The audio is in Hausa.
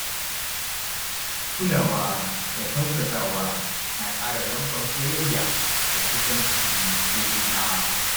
Kulawa da tausasawa na ƙara danƙon soyayya da kusanci da juna.